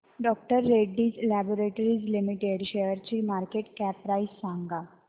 डॉ Reddy's laboratories limited शेअरची market cap price सांगा